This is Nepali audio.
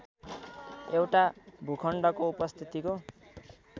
एउटा भूखण्डको उपस्थितिको